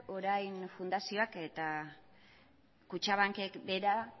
orain fundazioak eta kutxabankek bera